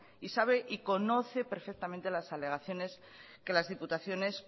y sabe y conoce perfectamente las alegaciones que las diputaciones